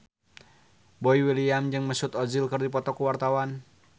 Boy William jeung Mesut Ozil keur dipoto ku wartawan